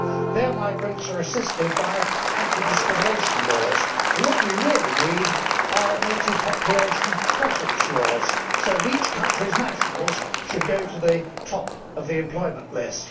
Their migrants are assisted by anti discrimination laws, while what we really need are native population preference laws, so that each country's nationals could go to the top of the employment list.